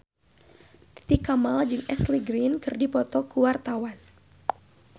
Titi Kamal jeung Ashley Greene keur dipoto ku wartawan